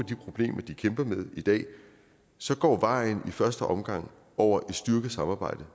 de problemer de kæmper med i dag så går vejen i første omgang over et styrket samarbejde